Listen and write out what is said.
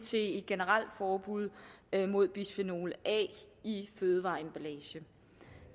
et generelt forbud mod bisfenol a i fødevareemballage